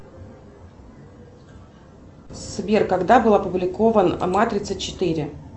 сбер когда был опубликован матрица четыре